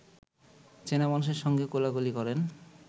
চেনা মানুষের সঙ্গে কোলাকুলি করেন